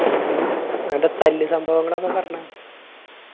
ഇൻറെ തല്ല് സംഭവങ്ങളൊക്കെ പറഞ്ഞേ